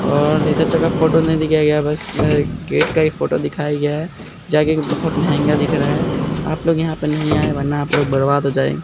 और इधर फोटो नहीं दिखाया गया बस अ गेट का ही फोटो दिखाया गया है जगह बहोत महंगा दिख रहा है आप लोग यहाँ पे नहीं आए वरना आप लोग बर्बाद हो जाए --